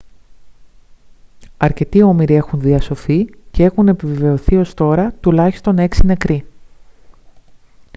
αρκετοί όμηροι έχουν διασωθεί και έχουν επιβεβαιωθεί ως τώρα τουλάχιστον 6 νεκροί